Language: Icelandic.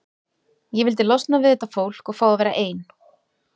Ég vildi losna við þetta fólk og fá að vera ein.